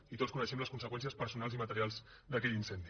i tots coneixem les conseqüències personals i materials d’aquell incendi